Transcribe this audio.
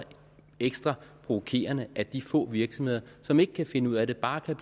ekstra provokerende at de få virksomheder som ikke kan finde ud af det bare kan